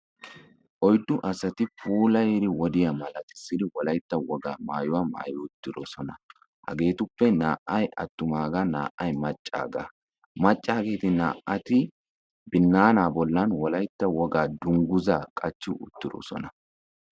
Oyddu asati puulayddi wodiyaa malatissidi Wolaytta woga maayuwaa maayyi uttidoosona hageetuppe naa'ay atumaga naa''ay maccaaga; maccageeti binaana bollan Wolaytta wogaa dungguza qachchi uttidooona.